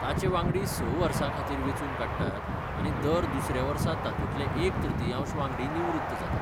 ताचे वांगडी स वर्सां खातीर वेंचून काडटात आनी दर दुसऱ्या वर्सा तातूंतले एक तृतीयांश वांगडी निवृत्त जातात.